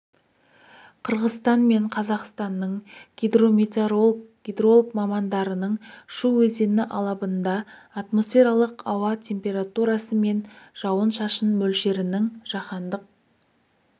қырғызстан мен қазақстанның гидрометеоролог гидролог мамандарының шу өзені алабында атмосфералық ауа температурасы мен жауын-шашын мөлшерінің жаһандық